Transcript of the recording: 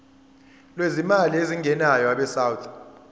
lwezimali ezingenayo abesouth